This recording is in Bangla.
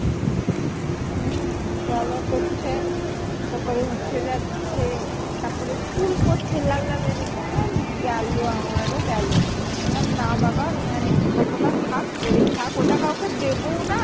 হম জ্বালা করছে তারপরে উঠে যাচ্ছে তারপরে চুলকাচ্ছে লাল লাল হয়ে যাচ্ছে আমি বললাম গেল আমারও গেল, আমি বললাম না বাবা আমি আর use করবো না থাক পরেই থাক ওটা কাউকে দেবও না